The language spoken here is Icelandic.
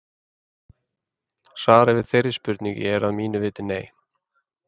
Svarið við þeirri spurningu er að mínu viti nei.